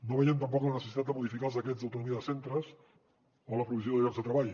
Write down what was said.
no veiem tampoc la necessitat de modificar els decrets d’autonomia de centres o la provisió de llocs de treball